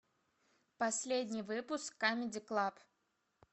последний выпуск камеди клаб